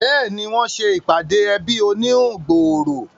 Béèni, wọ́n se ìpàdé ẹbí oníhun gbòòrò